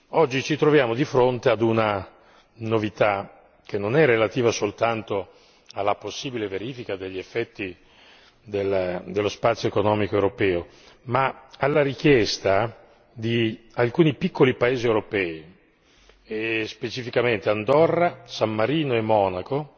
Oggi, ci troviamo di fronte ad una novità che non è relativa soltanto alla possibile verifica degli effetti dello spazio economico europeo, ma alla richiesta di alcuni piccoli paesi europei e, specificamente, Andorra, San Marino e Monaco,